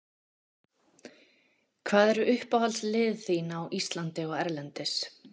Hvað eru uppáhaldslið þín á Íslandi og erlendis?